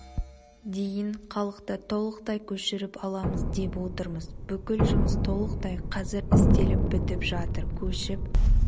дейін халықты толықтай көшіріп аламыз деп отырмыз бүкіл жұмыс толықтай қазір істеліп бітіп жатыр көшіп